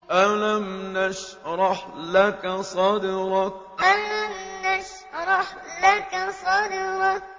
أَلَمْ نَشْرَحْ لَكَ صَدْرَكَ أَلَمْ نَشْرَحْ لَكَ صَدْرَكَ